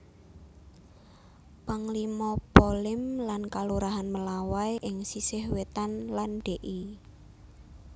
Panglima Polim lan Kalurahan Melawai ing sisih wétan lan Dl